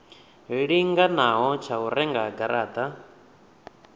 linganaho tsha u renga garata